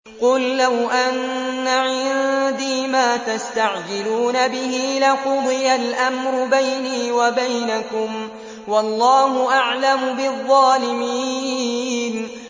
قُل لَّوْ أَنَّ عِندِي مَا تَسْتَعْجِلُونَ بِهِ لَقُضِيَ الْأَمْرُ بَيْنِي وَبَيْنَكُمْ ۗ وَاللَّهُ أَعْلَمُ بِالظَّالِمِينَ